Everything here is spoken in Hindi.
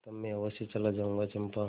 तब मैं अवश्य चला जाऊँगा चंपा